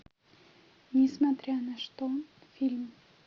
несмотря на что фильм